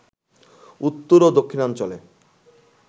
উত্তর ও দক্ষিণাঞ্চলে